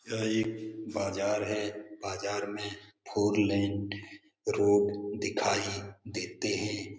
यह एक बाजार है बाजार में फोर लाइन रोड दिखाई देते है।